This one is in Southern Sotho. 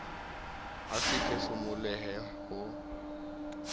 a sa phefomolohe le ho